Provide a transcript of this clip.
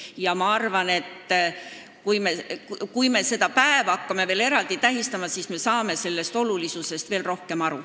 Ja ma arvan, et kui me seda päeva hakkame eraldi tähistama, siis me saame sellest olulisusest veel rohkem aru.